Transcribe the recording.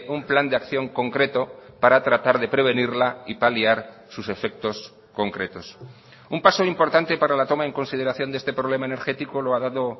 un plan de acción concreto para tratar de prevenirla y paliar sus efectos concretos un paso importante para la toma en consideración de este problema energético lo ha dado